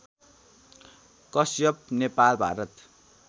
Kashyap Nepal Bharat